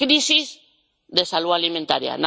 Es una crisis de salud alimentaria.